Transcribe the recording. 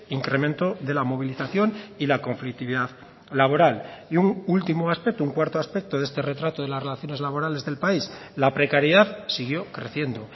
incremento de la movilización y la conflictividad laboral y un último aspecto un cuarto aspecto de este retrato de las relaciones laborales del país la precariedad siguió creciendo